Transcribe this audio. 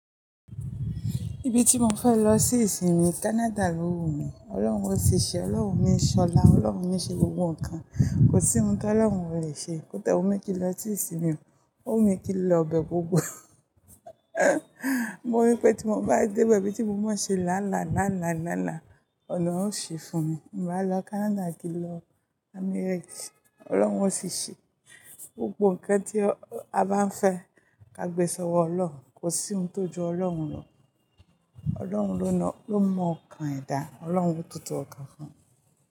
Ibi tí mo fẹ́ lọ sí ìsìn mi, Canada ló wù mí. Ọlọ́run ó sì ṣe, Ọlọ́run ni ṣọlá, Ọlọ́run ni ṣe gbogbo nǹkan. Kò sí ohun tí Ọlọ́run ò le ṣe. Kọ́da wu mi kí n lọ sí ìsìn mi, ó wù mí kí n lọ bẹ gbogbo. Mo rí pé tí mo bá dé bẹ, ibi tí mo mọ̀ ṣe lálàá, lálàá, lálàá, ọ̀nà a ó ṣí fún mi. Mo máa lọ Canada kí n lọ America. Ọlọ́run ó sì ṣe. Gbogbo nǹkan tí a bá ń fẹ́ ka gbèsòwo Ọlọ́run, kò sí ohun tó ju Ọlọ́run lọ. Ọlọ́run ló mọ okan eda, Ọlọ́run tó tó ọkàn fún.